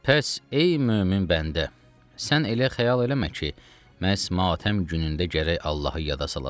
Pəs ey mömin bəndə, sən elə xəyal eləmə ki, məhz matəm günündə gərək Allahı yada salasan.